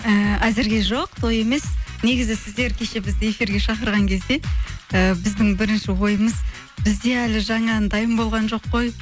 ііі әзірге жоқ той емес негізі сіздер кеше бізді эфирге шақырған кезде і біздің бірінші ойымыз бізде әлі жаңа ән дайын болған жоқ қой